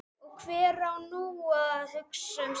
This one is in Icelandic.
Og hver á nú að hugsa um Stínu.